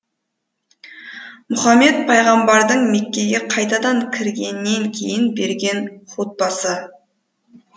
мұхаммед пайғамбардың меккеге қайтадан кіргеннен кейін берген һутбасы